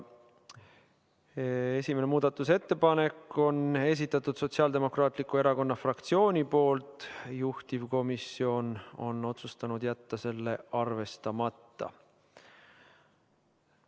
Esimese muudatusettepaneku on esitanud Sotsiaaldemokraatliku Erakonna fraktsioon, juhtivkomisjon on otsustanud jätta selle arvestamata.